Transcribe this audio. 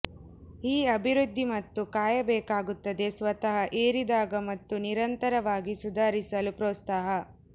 ಈ ಅಭಿವೃದ್ಧಿ ಮತ್ತು ಕಾಯಬೇಕಾಗುತ್ತದೆ ಸ್ವತಃ ಏರಿದಾಗ ಮತ್ತು ನಿರಂತರವಾಗಿ ಸುಧಾರಿಸಲು ಪ್ರೋತ್ಸಾಹ